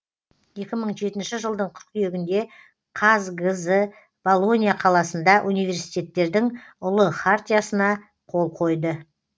екі мың жетінші жылдың қыркүйегінде қазгз болонья қаласында университеттердің ұлы хартиясына қол қойды